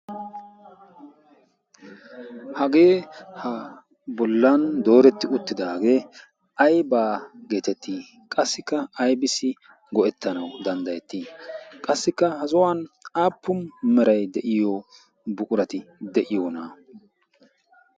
hagee ha bollan dooretti uttidaagee aibaa geetettii qassikka aibissi go'ettanau danddayettii qassikka ha zohuwan aappu merai de'iyo buqurati de'iyoona?